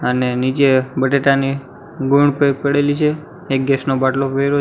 અને નીચે બટેટાની ગુણ બેગ પડેલી છે એક ગેસ નો બાટલો